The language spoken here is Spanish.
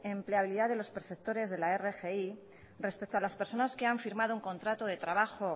empleabilidad de los perceptores de la rgi respecto a las personas que han firmado un contrato de trabajo